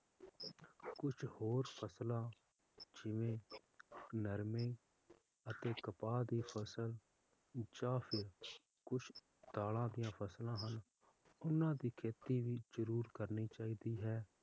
ਕੁਛ ਹੋਰ ਫਸਲਾਂ ਜਿਵੇ ਨਰਮੇ ਜਾ ਕਪਾਹ ਦੀ ਫਸਲ ਜਾ ਫੇਰ ਕੁਛ ਦਾਲਾਂ ਦੀਆਂ ਫਸਲਾਂ ਹਨ ਉਹਨਾਂ ਦੀ ਖੇਤੀ ਵੀ ਜਰੂਰਕਰਨੀ ਚਾਹੀਦੀ ਹੈ l